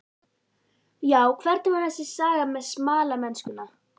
Já, hvernig var þessi saga með smalamennskuna?